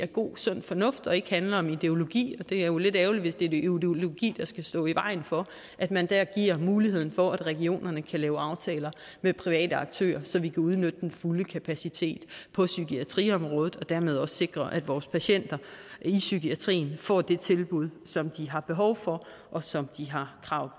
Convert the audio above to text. god sund fornuft og ikke handler om ideologi det er jo lidt ærgerligt hvis det er ideologi der skal stå i vejen for at man der giver muligheden for at regionerne kan lave aftaler med private aktører så vi kan udnytte den fulde kapacitet på psykiatriområdet og dermed også sikre at vores patienter i psykiatrien får det tilbud som de har behov for og som de har krav